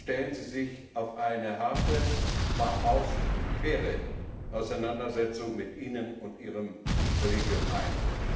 Stellen Sie sich auf eine harte, aber auch faire Auseinandersetzung mit Ihnen und Ihrem Kollegium ein!